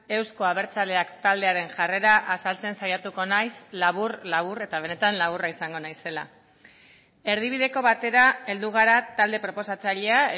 euzko abertzaleak taldearen jarrera azaltzen saiatuko naiz labur labur eta benetan laburra izango naizela erdibideko batera heldu gara talde proposatzailea